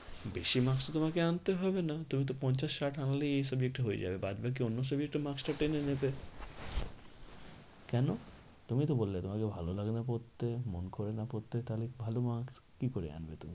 বেশি maks তো তোমাকে আনতে হবে না। তুমি তো পঞ্চাশ ষাট আনলেই এই subject এ হয়ে যাবে। বাদবাকি অন্য subject এ maks টা টেনে নেবে কেন তুমি তো বললে তোমাকে ভালো লাগে না পড়তে, মন করে না পড়তে তাহলে ভালো maks কি করে আনবে তুমি?